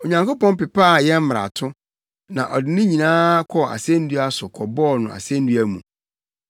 Onyankopɔn pepaa yɛn mmarato; na ɔde ne nyinaa kɔɔ asennua so kɔbɔɔ no asennua mu.